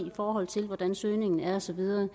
i forhold til hvordan søgningen er og så videre